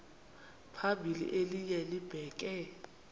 phambili elinye libheke